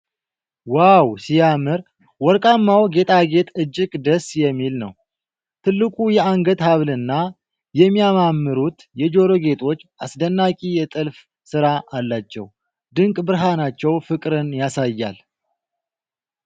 ዋው ሲያምር! ወርቃማው ጌጣጌጥ እጅግ ደስ የሚል ነው። ትልቁ የአንገት ሀብልና የሚያማምሩት የጆሮ ጌጦች አስደናቂ የጥልፍ ስራ አላቸው። ድንቅ ብርሃናቸው ፍቅርን ያሳያል።